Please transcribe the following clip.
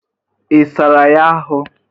Ị sara ya ahụ?